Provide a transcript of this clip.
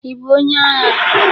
Ị bụ onye agha?